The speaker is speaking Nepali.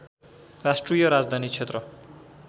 राष्ट्रिय राजधानी क्षेत्र